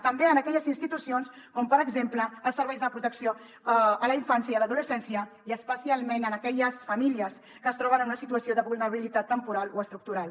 també en aquelles institucions com per exemple els serveis de protecció a la infància i a l’adolescència i especialment en aquelles famílies que es troben en una situació de vulnerabilitat temporal o estructural